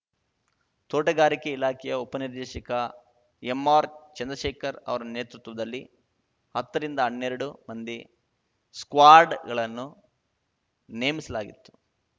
ತೋಟಗಾರಿಕೆ ಇಲಾಖೆಯ ಉಪನಿರ್ದೇಶಕ ಎಂಆರ್‌ ಚಂದ್ರಶೇಖರ್‌ ಅವರ ನೇತೃತ್ವದಲ್ಲಿ ಹತ್ತ ರಿಂದಹನ್ನೆರಡು ಮಂದಿ ಸ್ಕ್ವಾಡ್‌ಗಳನ್ನು ನೇಮಿಸಲಾಗಿತ್ತು